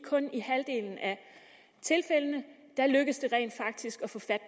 kun i halvdelen af tilfældene lykkes det rent faktisk